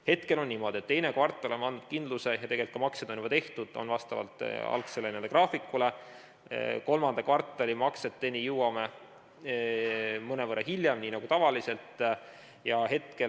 Hetkel on niimoodi, et teiseks kvartaliks me oleme andnud kindluse ja tegelikult ka maksed on juba tehtud vastavalt algsele graafikule, kolmanda kvartali makseteni jõuame mõnevõrra hiljem, nagu tavaliselt.